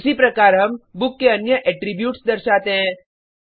उसी प्रकार हम बुक के अन्य एट्रीब्यूट्स दर्शाते हैं